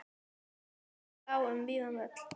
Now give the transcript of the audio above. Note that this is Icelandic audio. Og gólfið lá um víðan völl.